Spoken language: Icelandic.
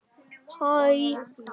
Sólborg kinkaði kolli.